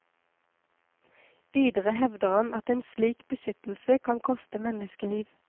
Videre hevder han at en slik beskyttelse kan koste menneskeliv.